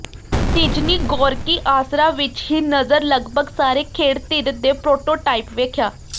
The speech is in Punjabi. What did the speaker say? ਨਿਜ੍ਹਨੀ ਗੋਰਕੀ ਆਸਰਾ ਵਿੱਚ ਹੀ ਨਜ਼ਰ ਲਗਭਗ ਸਾਰੇ ਖੇਡ ਧਿਰ ਦੇ ਪ੍ਰੋਟੋਟਾਇਪ ਵੇਖਿਆ